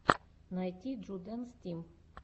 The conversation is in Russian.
найти джудэнс тим